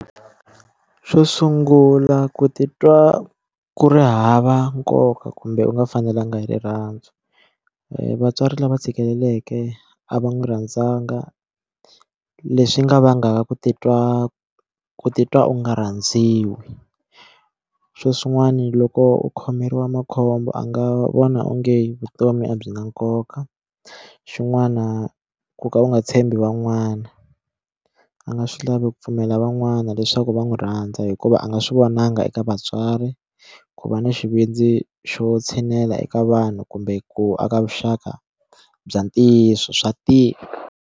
Xo sungula ku titwa ku ri hava nkoka kumbe u nga fanelanga hi rirhandzu vatswari lava tshikeleleke a va n'wi rhandzanga leswi nga vangaka ku titwa ku titwa u nga rhandziwi xo swin'wana loko u khomeriwa makhombo a nga vona onge vutomi a byi na nkoka xin'wana ku ka u nga tshembi van'wana a nga swi lavi ku pfumela van'wana leswaku va n'wi rhandza hikuva a nga swi vonanga eka vatswari ku va na xivindzi xo tshinela eka vanhu kumbe ku aka vuxaka bya ntiyiso swa tika.